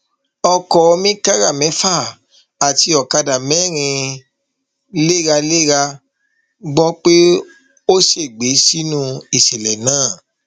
ọkọ mìkára mẹfà àti ọkadà mẹrin léralérayé gbọ pé ó ṣègbè sínú ìṣẹlẹ náà